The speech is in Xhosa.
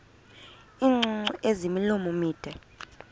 iingcungcu ezimilomo mide